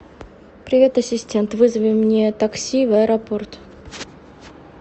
привет ассистент вызови мне такси в аэропорт